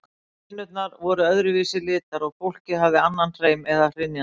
Hænurnar voru öðru vísi litar og fólkið hafði annan hreim, aðra hrynjandi.